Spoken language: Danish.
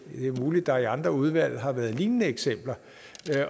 er muligt at der i andre udvalg har været lignende eksempler